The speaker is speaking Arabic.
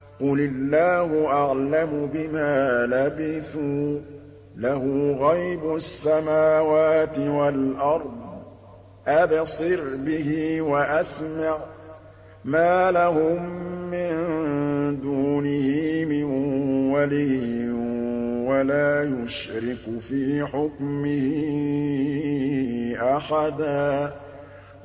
قُلِ اللَّهُ أَعْلَمُ بِمَا لَبِثُوا ۖ لَهُ غَيْبُ السَّمَاوَاتِ وَالْأَرْضِ ۖ أَبْصِرْ بِهِ وَأَسْمِعْ ۚ مَا لَهُم مِّن دُونِهِ مِن وَلِيٍّ وَلَا يُشْرِكُ فِي حُكْمِهِ أَحَدًا